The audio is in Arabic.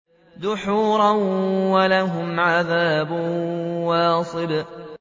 دُحُورًا ۖ وَلَهُمْ عَذَابٌ وَاصِبٌ